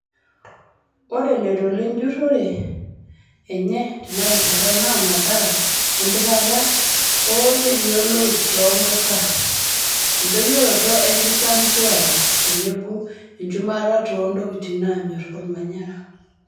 Ore oloito lenjurore enye tena rishata naa mathara empikata oo neetioloip too mpuka, endoyioroto enkisampuare tenebo enchumata too ntokitin naanyor olmanyara.